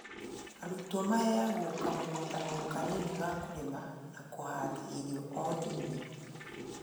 Arutwo maheagwo kamũgũnda kanini ga kũrĩma na makahanda irio o nini